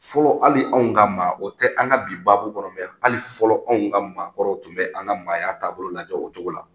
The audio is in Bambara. Fɔlɔ hali anw ka maa, o tɛ an ka bi baabu kɔnɔ dɛ! Hali fɔlɔ anw ka maakɔrɔw tun bɛ an ka maaya taabolo lajɛ, o cogo la.